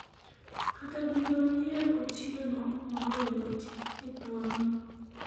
kata dine uyier Otieno moloyo Oti e thuolo no